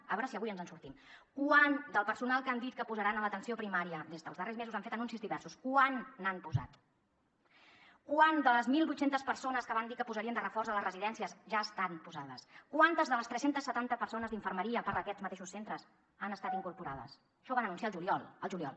a veure si avui ens en sortim quant del personal que han dit que posaran a l’atenció primària des dels darrers mesos han fet anuncis diversos quant n’han posat quantes de les mil vuit cents persones que van dir que posarien de reforç a les residències ja estan posades quantes de les tres cents i setanta persones d’infermeria per a aquests mateixos centres han estat incorporades això ho van anunciar al juliol al juliol